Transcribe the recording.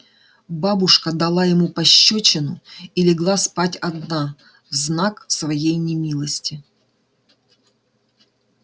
бабушка дала ему пощёчину и легла спать одна в знак своей немилости